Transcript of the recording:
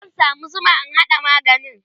zan samu Zuma in haɗa maganin